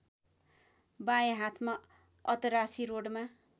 बाए हाथमा अतरासी रोडमा